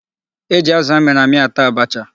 E ji azụ a mịrị amị ata abacha.